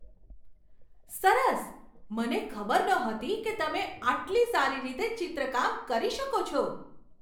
સરસ! મને ખબર નહોતી કે તમે આટલી સારી રીતે ચિત્રકામ કરી શકો છો!